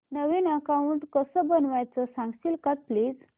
नवीन account कसं बनवायचं सांगशील का प्लीज